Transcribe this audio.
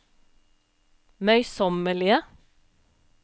møysommelige